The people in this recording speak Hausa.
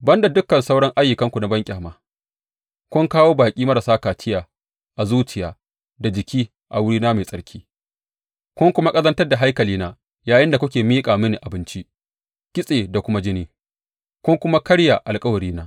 Ban da dukan sauran ayyukanku na banƙyama, kun kawo baƙi marasa kaciya a zuciya da jiki a wurina mai tsarki, kun kuma ƙazantar da haikalina yayinda kuke miƙa mini abinci, kitse da kuma jini, kun kuma karya alkawarina.